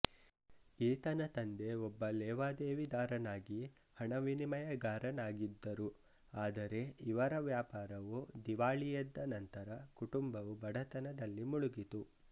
ಈತನ ತಂದೆ ಒಬ್ಬ ಲೇವಾದೇವಿದಾರನಾಗಿ ಹಣವಿನಿಮಯಗಾರನಾಗಿದ್ದರು ಆದರೆ ಇವರ ವ್ಯಾಪಾರವು ದಿವಾಳಿಯೆದ್ದ ನಂತರ ಕುಟುಂಬವು ಬಡತನದಲ್ಲಿ ಮುಳುಗಿತು